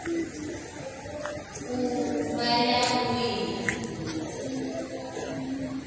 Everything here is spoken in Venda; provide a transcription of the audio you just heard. u vha ya u wina